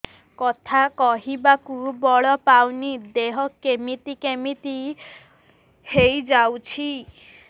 କଥା କହିବାକୁ ବଳ ପାଉନି ଦେହ କେମିତି କେମିତି ହେଇଯାଉଛି